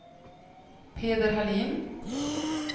Peder Hallin